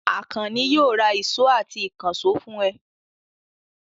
Àkànní yóò ra ìṣó àti ìkànṣó fún ẹ.